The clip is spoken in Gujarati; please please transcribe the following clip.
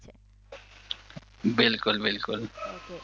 બિલકુલ બિલકુલ ઓકે